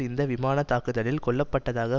இந்த விமான தாக்குதலில் கொல்ல பட்டதாக